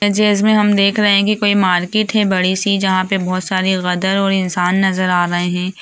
जी इसमे हम देख रहे है कि कोई मार्केट है बड़ी-सी जहां पे बहोत सारी गदर और इंसान नजर आ रहे है।